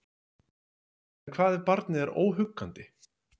En hvað ef barnið er óhuggandi?